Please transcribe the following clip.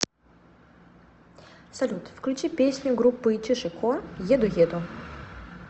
салют включи песню группы чиж и ко еду еду